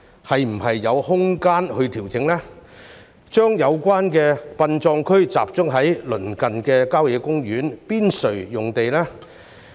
是否有空間作出調整，將有關的殯葬區集中在鄰近郊野公園的邊陲用地？